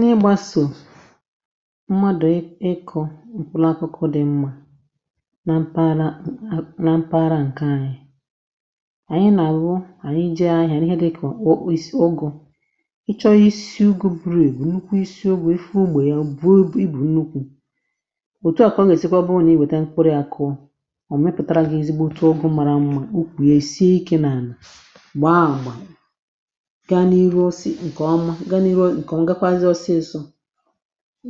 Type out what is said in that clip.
Nà ịgbȧsò mmadụ̀ ịkọ̇ ụ̀kwụlụ akwụkwọ um dị̇ mmȧ na mpaghara, na mpaghara ǹkè anyị̇ ànyị nà-àlụ anà ije ȧhịȧ ihe eh dị̇kà ụ̀kwụ isi̇ ụgụ̇, ịchọ̇ isi ugwu buru ègwù, nnukwu isi ogbè ife ugbò ya buo i bù nnukwu̇ òtù à kọ̀ọ. Na-èsikwa bụ̇ onye i wète nkwurịakụọ ọ̀, mepùtara gị̇ ezigboata ụgụ̇ mara mmȧ, ụkwù ya è sie ikė nà àlà ǹkè ọma. Gaa n’irȯ ǹkè ọmal gakwazị ọsịsọ̇,